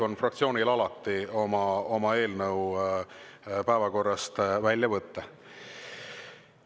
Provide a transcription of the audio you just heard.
Fraktsioonil on alati õigus oma eelnõu päevakorrast välja võtta.